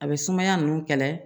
A bɛ sumaya ninnu kɛlɛ